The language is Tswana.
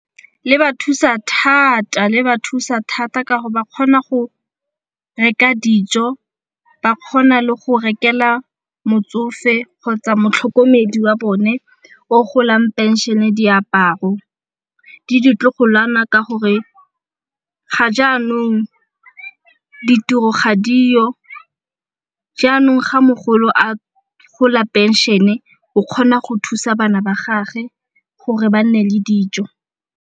Le ba thusa thata ka go ba kgona go reka dijo, ba kgona le go rekela motsofe kgotsa motlhokomedi wa bone o golang phenšene diaparo le ditlogolwana ka gore ga jaanong ditiro ga diyo. Jaanong ga mogolo a gola phenšene o kgona go thusa bana ba gagwe gore ba nne le dijo.